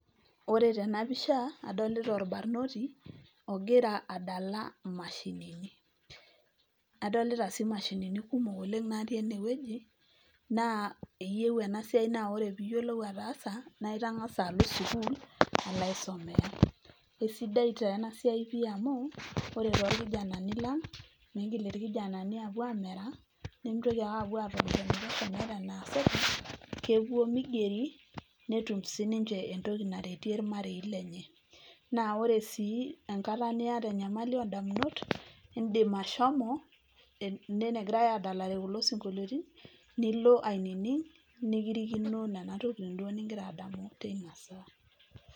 Ore tena pisha, adolita olbarnoti ogira adala imashinini. Adolita sii imashinini kumok oleng' natii ene wueji, naa eyieu ena siai naa ore peyie iyiolou ataasa naa itang'asa alo sukuul alo aisomea. Kesidai taa ena siai pii amu ore too kijanani lang' miigil ilkijanani aapuo aamera mitoki ake aapuo atoni meeta enaasita kepuo migeri nitum sininje entoki naretie ilmarei lenye. Naa ore sii enkata niata enyamali oo damunut, iidim ashomo ene negirai aadalare kulo sinkoliotin nilo ainining' nikirikino nena tokitin duo nigira adamu teina saa.